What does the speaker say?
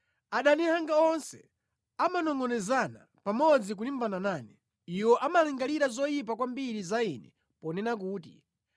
Adani anga onse amanongʼonezana pamodzi kulimbana nane, iwo amalingalira zoyipa kwambiri za ine, ponena kuti,